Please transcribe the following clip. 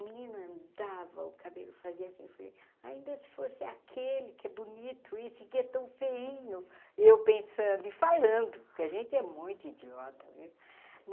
O menino andava, o cabelo fazia assim, falei, ainda se fosse aquele que é bonito, esse aqui é tão feinho, eu pensando e falando, porque a gente é muito idiota, viu?